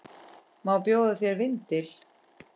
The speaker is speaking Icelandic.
Má bjóða þér vindil?